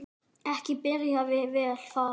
Ekki byrjaði það vel.